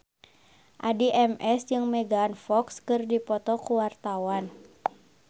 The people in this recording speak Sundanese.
Addie MS jeung Megan Fox keur dipoto ku wartawan